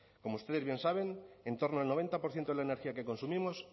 como ustedes bien saben en torno al noventa por ciento de la energía que consumimos